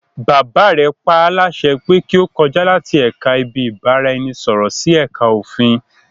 Bàbá rẹ paálásẹ pé kí ó kọjá láti ẹ̀ka ibi-ìbáraẹnisọ̀rọ̀ sí ẹ̀ka òfin